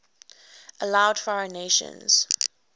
allowed foreign nations